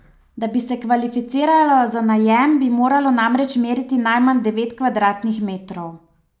Da bi se kvalificiralo za najem, bi moralo namreč meriti najmanj devet kvadratnih metrov.